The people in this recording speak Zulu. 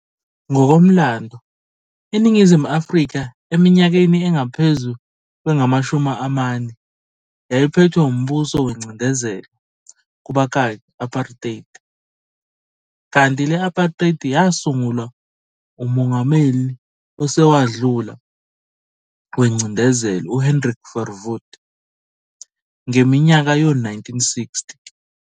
Ngokomlando, INingizimu Afrika eminyakeni engaphezu kwengamashumi amane yayiphethwe wumbuso wengcindezi, kubakaki, "Apartheid". Kanti le-Apartheid yasungulwa umongameli osewadlula wengcindezelo uHendrik Verwoerd, ngeminyaka yo-1960.